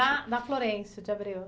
na Florêncio de Abreu?